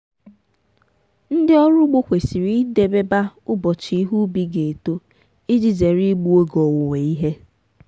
ndị ọrụ ugbo kwesịrị idebeba ụbọchị ihe ubi ga-eto iji zere igbu oge owuwe ihe.